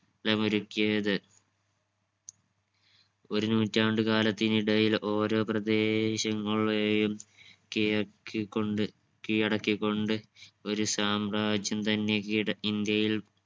ത്തമൊരുക്കിയത് ഒരു നൂറ്റാണ്ടു കാലത്തിനിടയിൽ ഓരോ പ്രദേശങ്ങളെയും കിഴക്ക് കൊണ്ട് കീഴടക്കികൊണ്ട് ഒരു സാമ്രാജ്യം തന്നെ ഈട ഇന്ത്യയിൽ